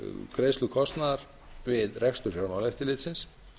greiðslu kostnaðar við rekstur fjármálaeftirlitsins